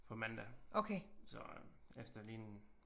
På mandag så øh efter lige en